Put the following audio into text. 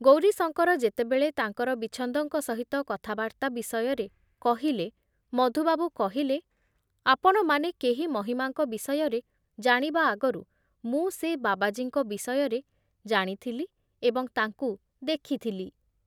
ଗୌରୀଶଙ୍କର ଯେତେବେଳେ ତାଙ୍କର ବିଚ୍ଛନ୍ଦଙ୍କ ସହିତ କଥାବାର୍ତ୍ତା ବିଷୟରେ କହିଲେ, ମଧୁବାବୁ କହିଲେ, ଆପଣମାନେ କେହି ମହିମାଙ୍କ ବିଷୟରେ ଜାଣିବା ଆଗରୁ ମୁଁ ସେ ବାବାଜୀଙ୍କ ବିଷୟରେ ଜାଣିଥିଲି ଏବଂ ତାଙ୍କୁ ଦେଖିଥିଲି ।